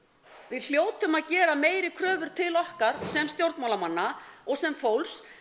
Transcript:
við hljótum að gera meiri kröfur til okkar sem stjórnmálamanna og sem fólks